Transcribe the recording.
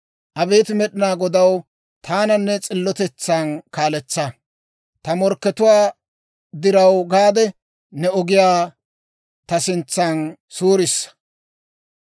Abeet Med'inaa Godaw, Taana ne s'illotetsan kaaletsa; ta morkkatuwaa diraw gaade, ne ogiyaa ta sintsan suurisa.